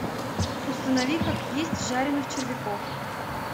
установи как есть жаренных червяков